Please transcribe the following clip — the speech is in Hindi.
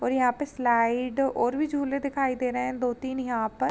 और यहाँ पे स्लाइड और भी झूले दिखाई दे रहे हैं। दो तीन यहाँ पर --